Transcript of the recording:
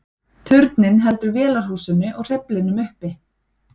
turninn heldur vélarhúsinu og hreyflinum uppi